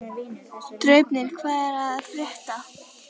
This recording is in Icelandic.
Draupnir, hvað er að frétta?